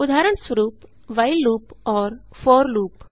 उदाहरणस्वरूप while loop और for loop